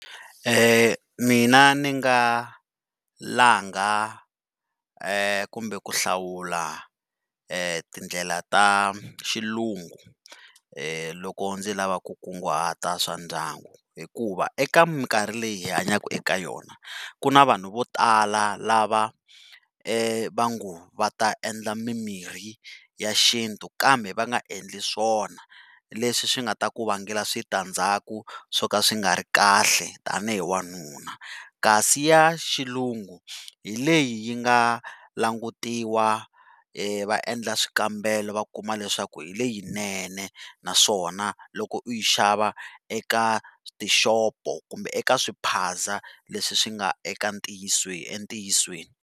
Mina ni nga langa kumbe ku hlawula tindlela ta xilungu loko ndzi lava ku kunguhata swa ndyangu hikuva eka mikarhi leyi hi hanyaka eka yona ku ni vanhu vo tala lava va nga va ta endla mimirhi ya xintu kambe va nga endli swona leswi swi nga ta ku vangela switandzhaku swo ka swi nga ri kahle tanihi wanuna kasi ya xilungu hi leyi yi nga languteriwa va endla swikambelo va kuma leswaku hi leyinene naswona loko uyi xava eka tishopo kumbe eka swiphaza leswi swi nga eka entiyisweni.